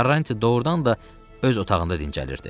Karanç doğurdan da öz otağında dincəlirdi.